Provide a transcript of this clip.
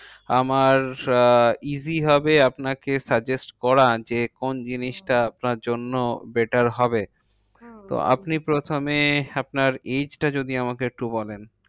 আমার আহ easy হবে আপনাকে suggest করা যে, কোন জিনিসটা আপনার জন্য better হবে? হম তো আপনি প্রথমে আপনার age টা যদি আমাকে একটু বলেন?